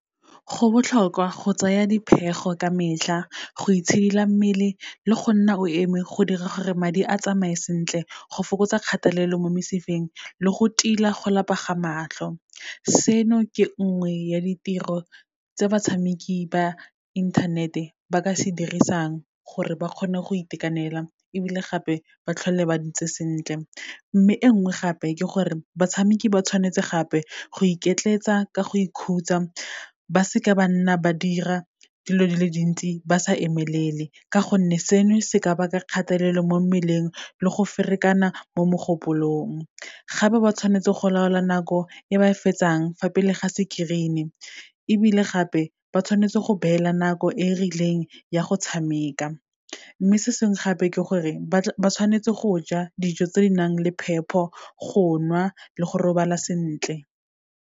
Go botlhokwa go tsaya dipheego ka metlha, go itshidila mmele le go nna o eme, go dira gore madi a tsamaye sentle, go fokotsa kgatelelo mo mesifeng, le go tila go lapa ga matlho. Seno ke nngwe ya ditiro tse batshameki ba inthanete ba ka se dirisang, gore ba kgone go itekanela, ebile gape ba tlhole ba ntse sentle. Mme e nngwe gape, ke gore batshameki ba tshwanetse gape, go iketletsa ka go ikhutsa, ba seka ba nna ba dira dilo di le dintsi ba sa emelele, ka gonne seno se ka baka kgatelelo mo mmeleng, le go ferekana mo mogopolong. Gape ba tshwanetse go laola nako, e ba e fetsang fa pele ga screen-e, ebile gape ba tshwanetse go beela nako e e rileng ya go tshameka. Mme se sengwe gape, ke gore ba tshwanetse go ja dijo tse di nang le phepo, go nwa le go robala sentle.